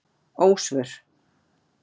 Ósvör